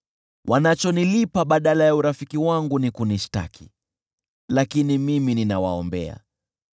Wanachonilipa badala ya urafiki wangu ni kunishtaki, lakini mimi ninawaombea.